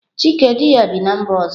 Chike di ya bi na mba ọzọ.